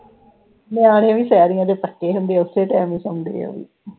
ਨਿਆਣੇ ਵੀ ਸ਼ਹਿਰੀਆਂ ਦੇ ਪੱਕੇ ਹੁੰਦੇ ਆ ਓਸੇ ਹੀ time ਤੇ ਹੀ ਸੋਂਦੇ ਉਹਵੀ